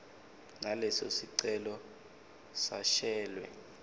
naleso sicelo sashwele